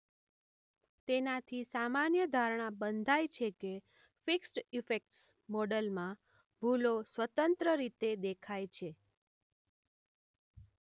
તેનાથી સામાન્ય ધારણા બંધાય છે કે ફિક્સ્ડ ઇફેક્ટ્સ મોડલમાં ભૂલો સ્વતંત્ર રીતે દેખાય છે